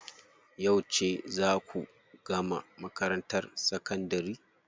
Yauce zaa ku gama makarantar sakandari?